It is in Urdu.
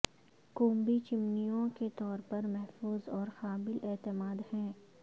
کومبی چمنیوں کے طور پر محفوظ اور قابل اعتماد ہیں